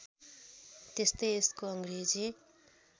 त्यस्तै यसको अङ्ग्रेजी